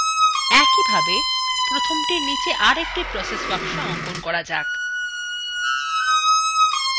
iএকইভাবে প্রথমতির নীচে আরএকটি process box অঙ্কন করা যাক